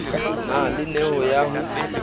na le neo ya ho